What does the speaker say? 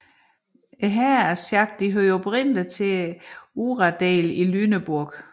Herrerne af Schack hørte oprindeligt til uradelen i Lüneburg